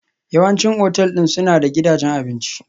Yawancin otal ɗin suna da gidajen abinci.